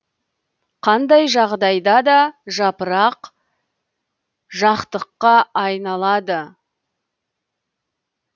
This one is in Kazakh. қандай жағдайда да жапырақ жақтыққа айналады